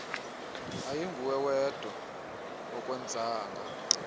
ayinguwe wedwa akwenzanga